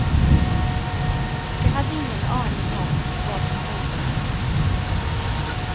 Jag hade ingen aning om vad som väntade mig.